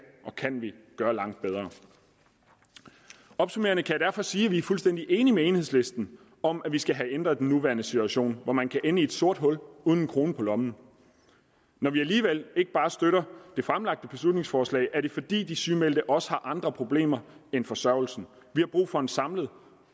vi gøre langt bedre opsummerende kan jeg derfor sige at vi er fuldstændig enige med enhedslisten om at vi skal have ændret den nuværende situation hvor man kan ende i et sort hul uden en krone på lommen når vi alligevel ikke bare støtter det fremsatte beslutningsforslag er det fordi de sygemeldte også har andre problemer end forsørgelsen vi har brug for en samlet